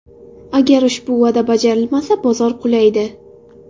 Agar ushbu va’da bajarilmasa, bozor qulaydi.